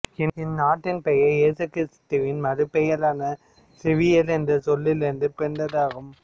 இந்நாட்டின் பெயர் இயேசு கிறிஸ்துவின் மறு பெயரான சேவியர் என்ற சொல்லில் இருந்து பிறந்ததாகும்